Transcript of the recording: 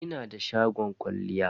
Ina da shagon kwalliya.